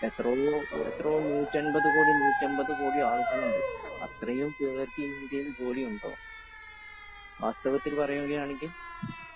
അത് എത്രയാ,180 കോടി, 150 കോടി ആളുകൾ ഉണ്ട്. അത്രയും പേർക്ക് ഇന്ത്യയിൽ ജോലിയുണ്ടോ വാസ്തവത്തിൽ പറയുകയാണെങ്കിൽ?